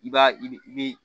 I b'a i bi i bi